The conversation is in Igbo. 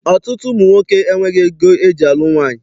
Ọtụtụ ụmụ nwoke enweghị ego eji alụ nwaanyị.